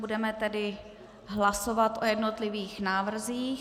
Budeme tedy hlasovat o jednotlivých návrzích.